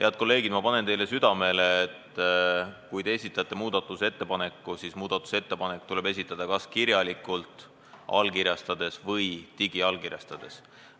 Head kolleegid, ma panen teile südamele, et kui te esitate muudatusettepaneku, siis tuleb see esitada kas kirjalikult allkirjastades või digiallkirjastades.